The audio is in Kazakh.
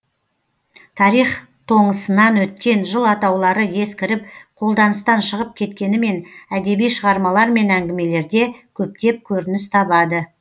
тарих тоңысынан өткен жыл атаулары ескіріп қолданыстан шығып кеткенімен әдеби шығармалар мен әңгімелерде көптеп көрініс табады